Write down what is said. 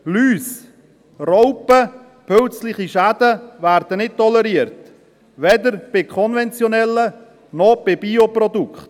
Läuse-, Raupen-, Pilz-Schäden werden nicht toleriert, weder bei konventionellen noch bei Bioprodukten.